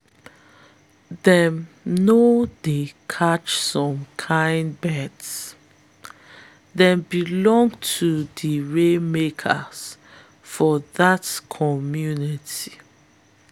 them no dey catch some kin birds - them belong to di rainmakers for the community.